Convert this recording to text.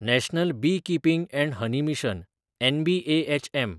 national Beekeeping & Honey Mission (NBHM)